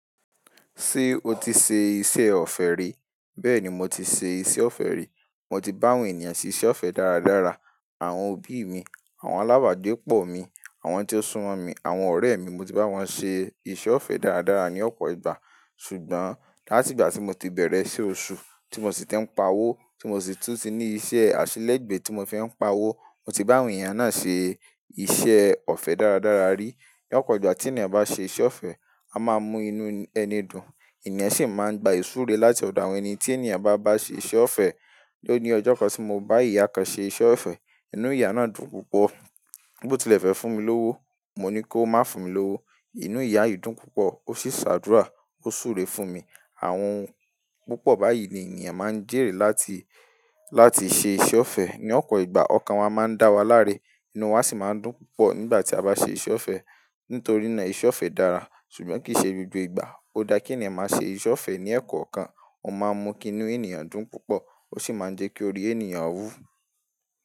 Ṣé o ti ṣe iṣẹ́ ọ̀fẹ́ rí? Bẹ́ẹ̀ ni mo ti ṣe iṣẹ́ ọ̀fẹ́ rí. Mo ti bá àwọn ènìyàn ṣe iṣẹ́ ọ̀fẹ́ dáradára. Àwọn òbí mi, àwọn alábàágbé pọ̀ mi, àwọn tí ó súmọ̀ mi, àwọn ọ̀rẹ́ mi, mo ti bá wọn ṣe iṣẹ́ ọ̀fẹ́ dáradára ní ọ̀pọ̀ ìgbà. Ṣùgbọ́n láti ìgbà tí mo ti bẹ̀rẹ̀ sí iṣẹ́ oṣù, tí mo sì ti ń pa owó, tí mo sì tún ti ní iṣẹ́ àṣelẹ̀gbé tí mo fi ń pa owó, mo ti bá àwọn ènìyàn náà ṣe iṣẹ́ ọ̀fẹ́ dáradára rí. Ní ọ̀pọ̀ ìgbà tí ènìyàn bá ṣe iṣẹ́ ọ̀fẹ́, a máa mú inú ẹni dùn, ènìyàn sì máa ń gba ìsúre láti ọ̀dọ̀ àwọn ẹni tí ènìyàn bá bá ṣe iṣẹ́ ọ̀fẹ́. Lónìí ọjọ́ kan tí mo bá ìyá kan ṣe iṣẹ́ ọ̀fẹ́, inú ìyá náà dùn púpọ̀. Bó tì lẹ́fẹ̀ fún mi lówó, mo ní kó má fún mi lówó. Inú ìyá yìí dùn púpọ̀, ó sì ṣàdúrà, ó súre fún mi. Àwọn ohun púpọ̀ báyìí ni ènìyàn má ń jèrè láti, láti ṣe iṣẹ́ ọ̀fẹ́. Ní ọ̀pọ̀ ìgbà ọkàn wa máa ń dá wa láre, inú wa sì máa ń dùn púpọ̀ nígbà tí a bá ṣe iṣẹ́ ọ̀fẹ́. Nítorí náà iṣẹ́ ọ̀fẹ́ dára, ṣùgbọ́n kì í ṣe gbogbo ìgbà. Ó dá kí ènìyàn máa ṣe iṣẹ́ ọ̀fẹ́ ní ẹkọ̀ kan, ó má ń mú kí inú ènìyàn dùn púpọ̀, ó sì má ń jẹ́ kí orí ènìyàn wú.